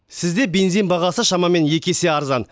сізде бензин бағасы шамамен екі есе арзан